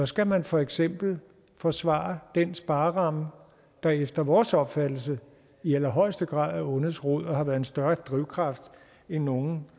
skal man for eksempel forsvare den spareramme der efter vores opfattelse i allerhøjeste grad er ondets rod og har været en større drivkraft end nogle